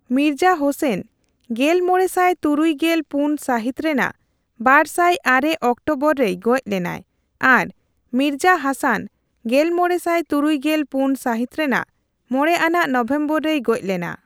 ᱢᱤᱨᱡᱟ ᱦᱳᱥᱮᱱ ᱜᱮᱞᱢᱚᱲᱮᱥᱟᱭ ᱛᱩᱨᱩᱭ ᱜᱮᱞ ᱯᱩᱱ ᱥᱟᱹᱦᱤᱛ ᱨᱮᱱᱟᱜ ᱵᱟᱨᱥᱟᱭ ᱟᱨᱮ ᱚᱠᱴᱳᱵᱚᱨᱮᱭ ᱜᱚᱡ ᱞᱮᱱᱟᱭ ᱟᱨ ᱢᱤᱨᱡᱟ ᱦᱟᱥᱟᱱ ᱜᱮᱞ ᱢᱚᱲᱮᱥᱟᱭ ᱛᱩᱨᱩᱭᱜᱮᱞ ᱯᱩᱱ ᱥᱟᱹᱦᱤᱛ ᱨᱮᱱᱟᱜ ᱢᱚᱲᱮ ᱟᱱᱟᱜ ᱱᱚᱵᱷᱮᱢᱵᱚᱨ ᱨᱮᱭ ᱜᱚᱡ ᱞᱮᱱᱟ ᱾